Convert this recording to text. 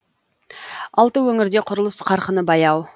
алты өңірде құрылыс қарқыны баяу